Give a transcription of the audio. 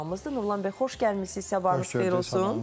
Nurlan bəy, xoş gəlmisiz, sabahınız xeyir olsun.